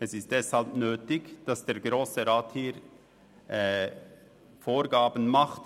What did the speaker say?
Es ist deshalb nötig, dass der Grosse Rat hier Vorgaben macht.